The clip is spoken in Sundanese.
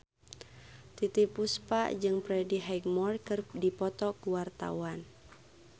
Titiek Puspa jeung Freddie Highmore keur dipoto ku wartawan